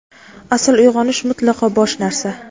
Asl uyg‘onish mutlaqo bosh narsa.